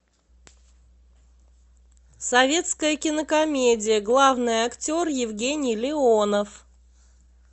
советская кинокомедия главный актер евгений леонов